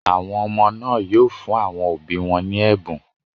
Àwọn ọmọ náà yóò fún àwọn òbí wọn ní ẹ̀bùn.